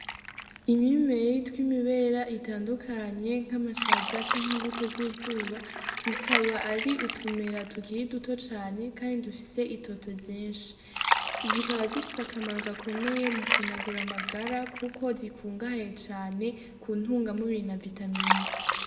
Imimeri tw'imibera itandukanye nk'amashaza canke imbuto z'izuba bikaba ari utumera tugiri duto cane, kandi dufise itoto ryinshi zikaba zifise akamaro gakomeye mu kunagura amagara, kuko zikungahaye cane ku ntunga mubiri na vitamina.